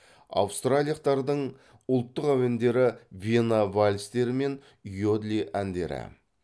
аустриялақтардың ұлттық әуендері вена вальстері мен иодли әндері